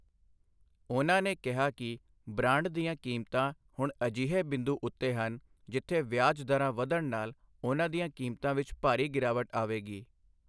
ਉਹਨਾਂ ਨੇ ਕਿਹਾ ਕਿ ਬ੍ਰਾਂਡ ਦੀਆਂ ਕੀਮਤਾਂ ਹੁਣ ਅਜਿਹੇ ਬਿੰਦੂ ਉੱਤੇ ਹਨ ਜਿੱਥੇ ਵਿਆਜ ਦਰਾਂ ਵਧਣ ਨਾਲ ਉਹਨਾਂ ਦੀਆਂ ਕੀਮਤਾਂ ਵਿੱਚ ਭਾਰੀ ਗਿਰਾਵਟ ਆਵੇਗੀ।